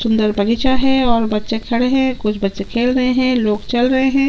सुन्दर बगीचा है और बच्चे खड़े है कुछ बच्चे खेल रहे है लोग चल रहे हे।